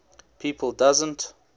people doesn t